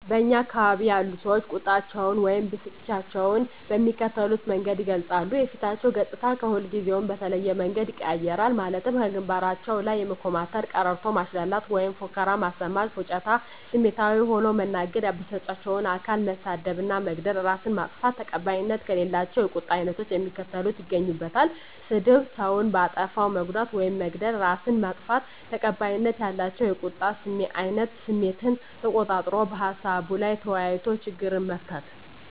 በእኛ አካባቢ ያሉ ሰዎች ቁጣቸውን ወይም ብስጭታቸውን በሚከተሉት መንገድ ይገልጻሉ:- የፊታቸው ገፅታ ከሁልጊዜው በተለየ መንገድ ይቀያየራል ማለትም ከግንባራቸው ላይ የመኮማተር፤ ቀረርቶ ማሽላላት ወይም ፉከራ ማሰማት፤ ፉጭታ፤ ስሜታዊ ሆኖ መናገር፤ ያበሳጫቸውን አካል መሳደብ እና መግደል፤ እራስን ማጥፋት። ተቀባይነት ከሌላቸው የቁጣ አይነቶች የሚከተሉት ይገኙበታል -ስድብ፤ ሰውን በአጠፋው መጉዳት ውይም መግደል፤ እራስን ማጥፋት። ተቀባይነት ያላቸው የቁጣ አይነት ስሜትን ተቆጣጥሮ በሀሳቡ ላይ ተወያይቶ ችግርን መፍታት።